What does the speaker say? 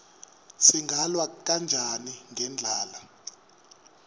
singalwa kanjani nendlala